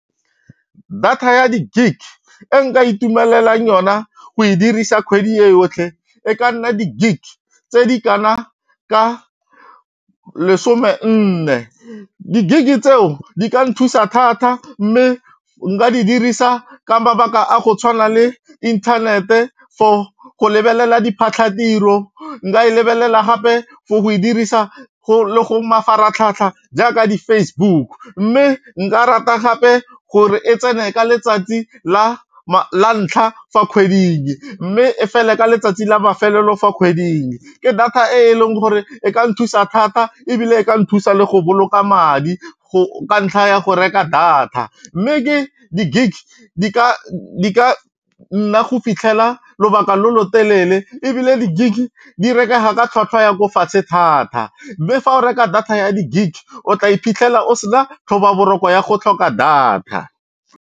Data ya di-gig e nka itumelelang yona go e dirisa kgwedi e yotlhe e ka nna di-gig tse di kana ka lesome nne, di-gig-e tseo di ka nthusa thata mme nka di dirisa ka mabaka a go tshwana le inthanete for go lebelela diphatlhatiro, nka e lebelela gape for go e dirisa le go mafaratlhatlha jaaka di-Facebook mme nka rata gape gore e tsene ka letsatsi la ntlha fa kgweding mme e fele ka letsatsi la mafelelo fa kgweding. Ke data e leng gore e ka nthusa thata ebile e ka nthusa le go boloka madi ka ntlha ya go reka data mme ke di-gig di ka nna go fitlhela lobaka lo lo telele ebile di gig di rekega ka tlhatlhwa ya ko fatshe thata mme fa o reka data ya di gig o tla iphitlhela o sena tlhobaboroko ya go tlhoka data.